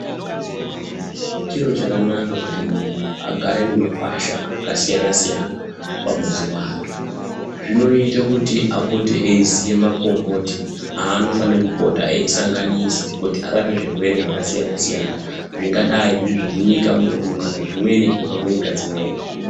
Chiro chakanaka kuti muntu agare nemakwasha akasiyana-siyana pamuzi wake. Zvinoite kuti apote eiziye makomboti aanofane kupota eisanganisa kuti arape zvirwere zvakasiyana-siyana. Zvingadai zviri zvemunyika munomu kana zvimweni zvinobva kunyika dzimweni.